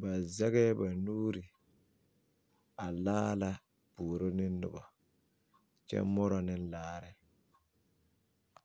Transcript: ba zaɡɛɛ ba nuuri a laara puoro ne noba kyɛ morɔ ne laare.